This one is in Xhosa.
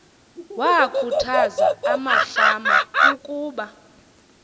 wakhuthaza amefama ukuba